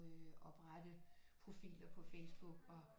Oprette profiler på Facebook og